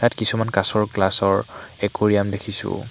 কিছুমান কাঁচৰ গ্লাচৰ একুৰীয়াম্ দেখিছোঁ।